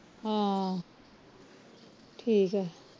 ਹਾਂ ਠੀਕ ਆ